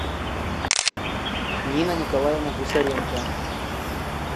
нина николаевна гусаренко